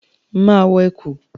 Máa wọ ẹ̀kú.